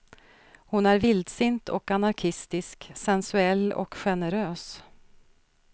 Hon är vildsint och anarkistisk, sensuell och generös.